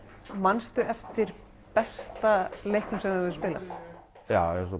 manstu eftir besta leiknum sem þú hefur spilað já